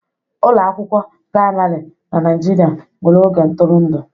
Ụlọ akwụkwọ praịmarị na Nigeria nwere oge ntụrụndụ.